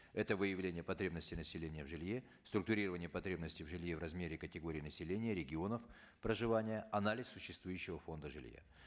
это выявление потребностей населения в жилье структурирование потребностей в жилье в размере категорий населения регионов проживания анализ существующего фонда жилья